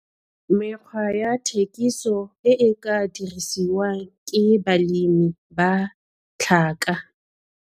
Mekgwa ya thekiso e e ka dirisiwang ke balemi ba tlhaka.